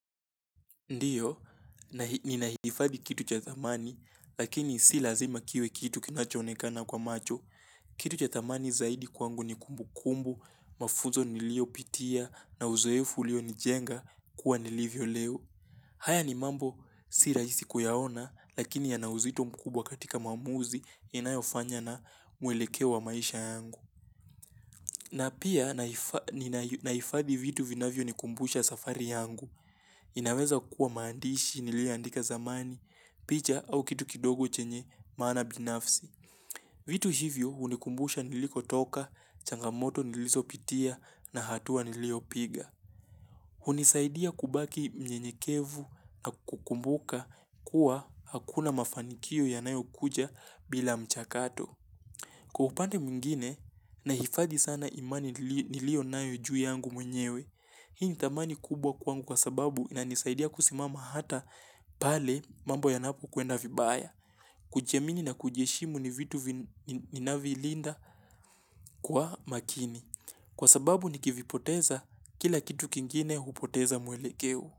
Ndiyo, ninahifadi kitu cha thamani, lakini si lazima kiwe kitu kinachonekana kwa macho. Kitu cha thamani zaidi kwangu ni kumbu kumbu, mafunzo nilio pitia, na uzoefu ulio nijenga kuwa nilivyo leo. Haya ni mambo, si raisi kuyaona, lakini yanauzito mkubwa katika maamuzi inayofanya na mwelekeo wa maisha yangu. Na pia nahifadhi vitu vinavyo nikumbusha safari yangu, inaweza kuwa maandishi nilioandika zamani, picha au kitu kidogo chenye maana binafsi. Vitu hivyo hunikumbusha nilikotoka, changamoto nilizopitia na hatua niliopiga. Hunisaidia kubaki mnyenyekevu na kukumbuka kuwa hakuna mafanikio yanayo kuja bila mchakato. Kwa upande mwingine, nahifadhi sana imani nilionayo juu yangu mwenyewe. Hii ni thamani kubwa kwangu kwa sababu inanisaidia kusimama hata pale mambo yanapo kwenda vibaya. Kujiamini na kujiheshimu ni vitu ninavilinda kwa makini. Kwa sababu nikivipoteza kila kitu kingine hupoteza mwelekeo.